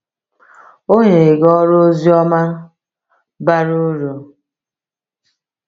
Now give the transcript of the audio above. O nyere gị ọrụ ozioma bara uru.”